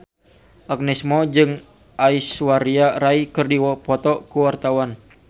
Agnes Mo jeung Aishwarya Rai keur dipoto ku wartawan